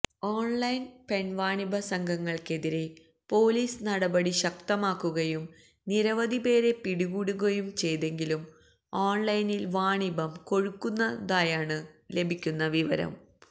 ഓൺലൈൻപെൺവാണിഭ സംഘങ്ങൾക്കെതിരെ പൊലീസ് നടപടി ശക്തമാക്കുകയും നിരവധി പേരെ പിടികൂടുകയും ചെയ്തെങ്കിലും ഓൺലൈനിൽ വാണിഭം കൊഴുക്കുന്നതായാണ് ലഭിക്കുന്ന വിവരം